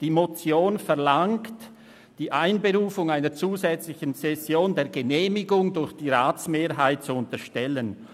Die Motion verlangt, die Einberufung einer zusätzlichen Session der Genehmigung durch die Ratsmehrheit zu unterstellen.